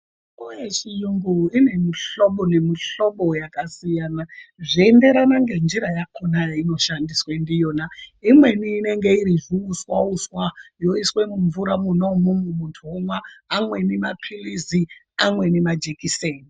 Mitombo yechiyungu ine mihlobo nemihlobo yakasiyana zveienderana ngenjira yakona yeinoshandiswa ndiyona. Imweni inenge iri zviuswa-uswa yoiswe mumvura mwona imwomwo muntu omwa. Amweni maphilizi, amweni majekiseni.